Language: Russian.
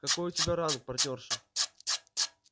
какой у тебя ранг партнёрша